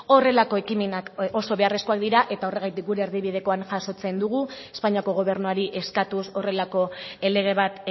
horrelako ekimenak oso beharrezkoak dira eta horregatik gure erdibidekoan jasotzen dugu espainiako gobernuari eskatuz horrelako lege bat